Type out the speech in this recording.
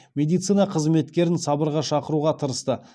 медицина қызметкерін сабырға шақыруға тырысты